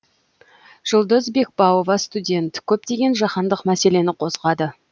жұлдыз бекбауова студент көптеген жаһандық мәселені қозғады